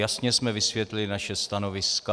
Jasně jsme vysvětlili naše stanoviska.